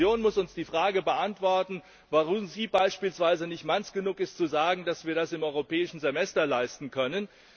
Die Kommission muss uns die Frage beantworten, warum sie beispielsweise nicht Manns genug ist zu sagen, dass wir das im Europäischen Semester leisten können.